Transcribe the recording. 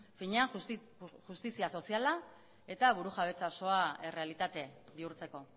finean justizia soziala eta burujabetza osoa errealitate bihurtzeko